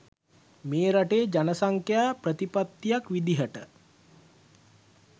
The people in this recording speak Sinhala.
මේ රටේ ජනසංඛ්‍යා ප්‍රතිපත්තියක් විදිහට